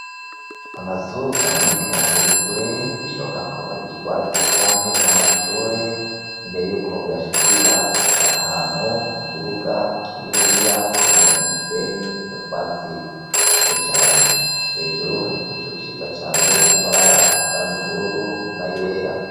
Amazu aboneka ari kure birashoboka ko ari ibigwati canke amashure imbere yuko uyadhikira uca ahantu mukibuga kinini ya kirimwo umusenyi nutatwi duke cane hejuru hari igicu gifise amabara y'ubururu nayera.